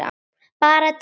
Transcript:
Bara tíma